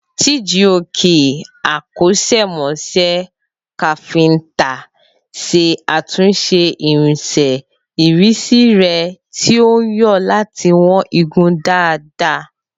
Chijioke, akọ́ṣẹ́mọṣẹ́ káfíńtà, ṣe àtúnṣe irinṣẹ́ ìrísí rẹ̀ tí ó ń yọ láti wọ̀n igun dáadáa.